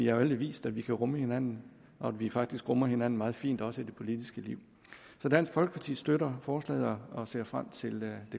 alle vist at vi kan rumme hinanden og at vi faktisk rummer hinanden meget fint også i det politiske liv så dansk folkeparti støtter forslaget og ser frem til det